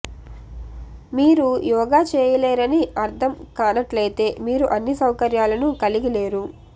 మీరు యోగా చేయలేరని అర్ధం కానట్లయితే మీరు అన్ని సౌకర్యాలను కలిగి లేరు